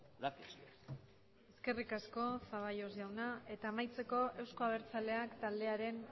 gracias eskerrik asko zaballos jauna eta amaitzeko euzko abertzaleak taldearen